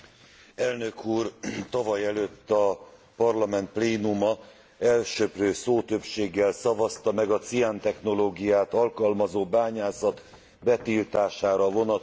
Tavalyelőtt a Parlament plénuma elsöprő szótöbbséggel szavazta meg a ciántechnológiát alkalmazó bányászat betiltására vonatkozó határozatot.